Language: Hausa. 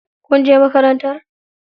Kun je makarantar?